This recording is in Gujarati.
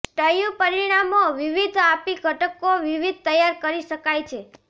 સ્ટયૂ પરિણામો વિવિધ આપી ઘટકો વિવિધ તૈયાર કરી શકાય છે